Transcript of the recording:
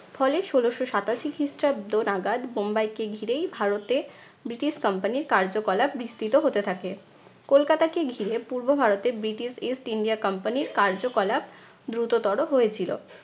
ফলে ষোলশ সাতাশি খ্রিস্টাব্দ নাগাদ বোম্বাইকে ঘিরেই ভারতে ব্রিটিশ company র কার্যকলাপ বিস্তৃত হতে থাকে। কলকাতাকে ঘিরে পূর্ব ভারতে ব্রিটিশ east india company র কার্যকলাপ দ্রুততর হয়েছিল।